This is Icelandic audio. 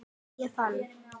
Ég finn